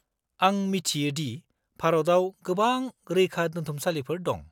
-आं मिथियो दि भारताव गोबां रैखादोन्थुमसालिफोर दं।